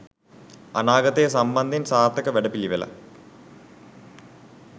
අනාගතය සම්බන්ධයෙන් සාර්ථක වැඩ පිළිවෙළක්